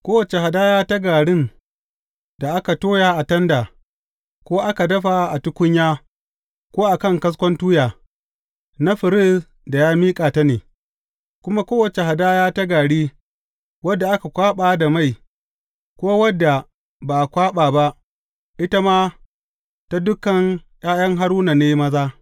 Kowace hadaya ta garin da aka toya a tanda, ko aka dafa a tukunya ko a kan kaskon tuya, na firist da ya miƙa ta ne, kuma kowace hadaya ta gari wadda aka kwaɓa da mai, ko wadda ba a kwaɓa ba, ita ma, ta dukan ’ya’ya Haruna ne maza.